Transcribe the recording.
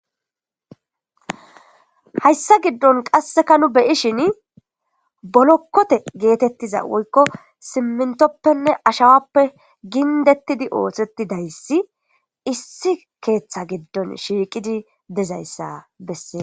Hayssa giddon qasseka nu beyi shin bolokkote geetettiza woykko simmintoppenne ashawappe gindettidi ootheti dayssi issi keeththa giddon shiiqidi dizayssa bessee